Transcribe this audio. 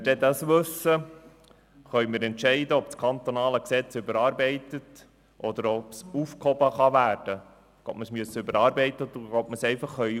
Sobald wir dies wissen, können wir entscheiden, ob das kantonale Gesetz überarbeitet werden muss oder aufgehoben werden kann.